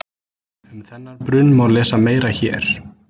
Um þennan brunn má lesa meira hér.